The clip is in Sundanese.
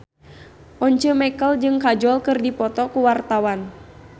Once Mekel jeung Kajol keur dipoto ku wartawan